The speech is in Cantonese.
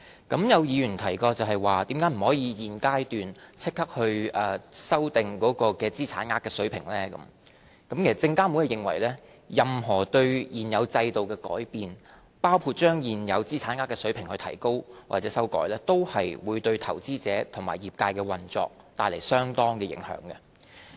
對於有議員提到為何不可以在現階段立即修訂資產額水平，證券及期貨事務監察委員會認為，任何對現有制度的改變，包括將現有資產額水平提高或修改，均會對投資者及業界的運作帶來相當影響。